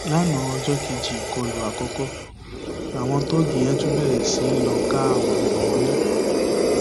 lanaa ọjọ kejì ìkọlù àkọkọ làwọn tóógi yẹn tún bẹrẹ sí í lọọ ká àwọn èèyàn mọlẹ